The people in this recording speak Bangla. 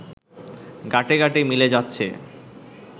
গাঁটে গাঁটে মিলে যাচ্ছে